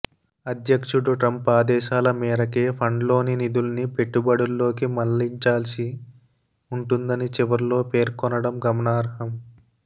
అధ్యక్షుడు ట్రంప్ ఆదేశాల మేరకే ఫండ్లోని నిధుల్ని పెట్టుబడుల్లోకి మళ్లించాల్సి ఉంటుందని చివర్లో పేర్కొనడం గమనార్హం